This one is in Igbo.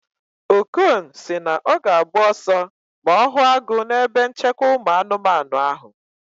Okon si na ọ ga-agba ọsọ ma ọ hụ agụ na ebe nchekwa ụmụ anụmanụ ahụ